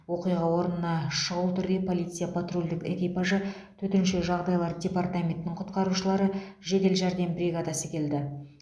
оқиға орнына шүғыл түрде полиция патрульдік экипажы төтенше жағдайлар департаментінің құтқарушылары жедел жәрдем бригадасы келді